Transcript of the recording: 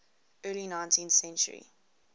early ninth century